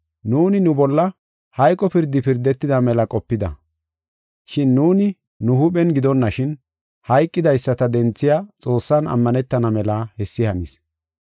Nuuni nu bolla hayqo pirdi pirdetida mela qopida. Shin nuuni nu huuphen gidonashin, hayqidaysata denthiya Xoossan ammanetana mela hessi hanis.